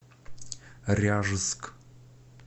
ряжск